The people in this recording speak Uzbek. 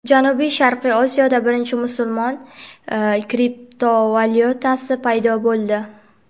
Janubi-sharqiy Osiyoda birinchi musulmon kriptovalyutasi paydo bo‘ldi.